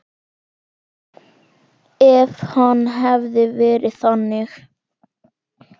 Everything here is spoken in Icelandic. Ef hann hefði verið þannig.